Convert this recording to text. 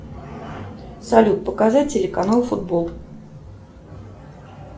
салют показать телеканал футбол